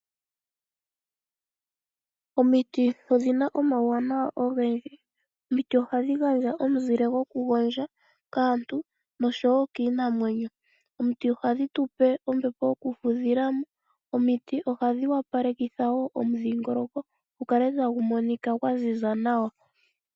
Omiti odhina omauwanawa ogendji. Omiti ohadhi gandja omuzile gokugondja kaantu osho wo kiinamwenyo. Omiti ohadhi tu pe ombepo yokufudhila mo. Omiti ohadhi wapalekitha wo omudhingoloko gu kale tagu monika gwa ziza nawa.